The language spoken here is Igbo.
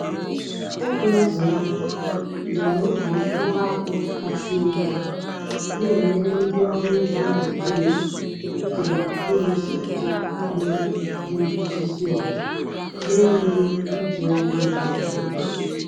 Teknụzụ ndụ na-eme ka mkpụrụ akpụ ka sie ike, na-enyere ndị ọrụ ugbo Naijiria Naijiria ịlụso nje na-egbu osisi ọgụ na-enweghị iji ọgwụ nje ike.